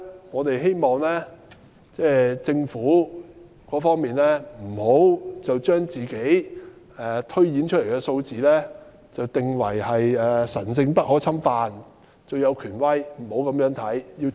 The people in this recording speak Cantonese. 我們希望政府不要把自己推斷的數字定為神聖不可侵犯，最有權威，不應這樣做。